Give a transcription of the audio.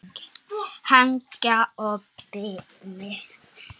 Helga og Birgir.